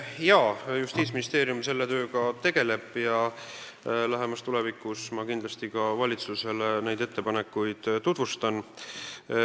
Jaa, Justiitsministeerium teeb selle kallal tööd ja kindlasti lähemas tulevikus ma tutvustan meie ettepanekuid valitsusele.